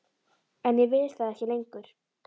En ég vil það ekki lengur.